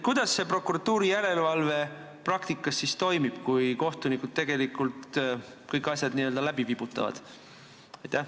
Kuidas see prokuratuuri järelevalve praktikas toimib, kui kohtunikud kõik asjad n-ö läbi vibutavad?